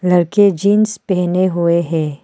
लड़के जींस पहने हुए हैं।